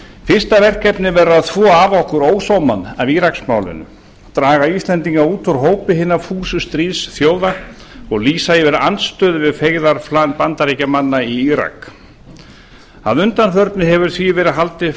fyrsta verkefnið verður að þvo af okkur ósómann af íraksmálinu draga íslendinga út úr hópi hinna fúsu stríðsþjóða og lýsa yfir andstöðu við feigðarflan bandaríkjamanna í írak að undanförnu hefur því verið haldið